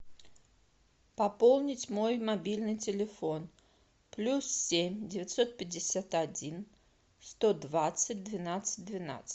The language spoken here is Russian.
пополнить мой мобильный телефон плюс семь девятьсот пятьдесят один сто двадцать двенадцать двенадцать